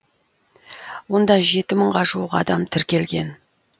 онда жеті мыңға жуық адам тіркелген